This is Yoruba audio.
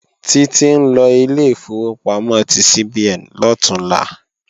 Títí ńlọ ilé ìfowópamọ́ ti CBN lọ̀túnla